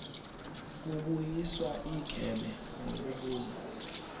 kubuyiswa igebe ngokubuza